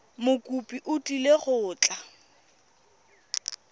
mokopi o tlile go tla